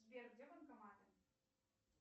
сбер где банкоматы